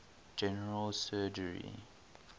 general surgery